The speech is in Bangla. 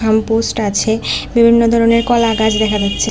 ল্যাম্প পোস্ট আছে বিভিন্ন ধরনের কলা গাছ দেখা যাচ্ছে।